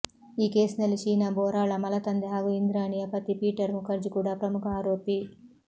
ಈ ಕೇಸ್ ನಲ್ಲಿ ಶೀನಾ ಬೋರಾಳ ಮಲತಂದೆ ಹಾಗೂ ಇಂದ್ರಾಣಿಯ ಪತಿ ಪೀಟರ್ ಮುಖರ್ಜಿ ಕೂಡ ಪ್ರಮುಖ ಆರೋಪಿ